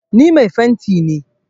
Ni mai fenti ne.